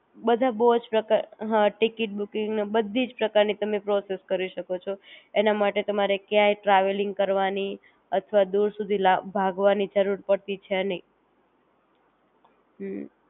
બધા બોવ જ પ્રકાર હા ટિકિટ બૂકિંગ ને બધી જ પ્રકાર ની તમે પ્રોસેસ કરી શકો છો એની માટે કયાય તમારે ટ્રાવેલિંગ કરવાની અથવા દૂર સુધી લા ભાગવાની જરૂર પડતી છે નહિ